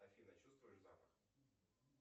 афина чувствуешь запах